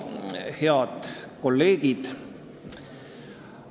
Head kolleegid!